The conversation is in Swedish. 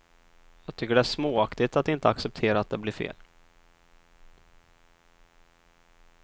Jag tycker det är småaktigt att inte acceptera att det blir fel.